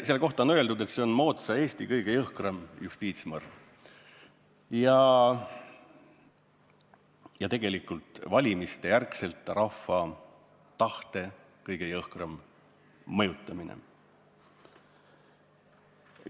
Selle kohta on öeldud, et see on moodsa Eesti kõige jõhkram justiitsmõrv ja tegelikult valimiste järgselt rahva tahte kõige jõhkram mõjutamine.